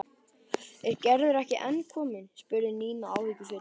Er Gerður ekki enn komin? spurði Nína áhyggjufull.